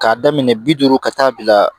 K'a daminɛ bi duuru ka taa bila